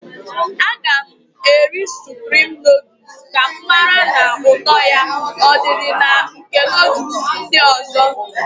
Aga m eri suprim nọọdus ka m mara ma ụtọ ya ọdị dị na nke nọọdus ndị ọzọ.